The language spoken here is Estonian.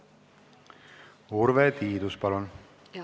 Urve Tiidus, palun!